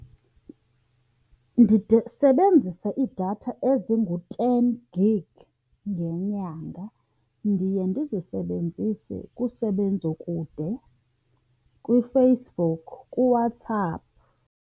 Ndide sebenzisa iidatha ezingu-ten gig ngenyanga. Ndiye ndizisebenzise kusebenzo kude, kwiFacebook, kuWhatsApp.